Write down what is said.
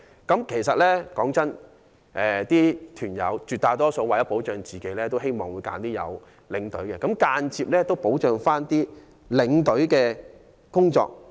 坦白說，絕大多數團友為了保障自己，都希望揀選有領隊的旅行團，這亦間接保障了領隊的工作。